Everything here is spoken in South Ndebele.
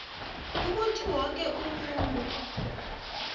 ukuthi woke umuntu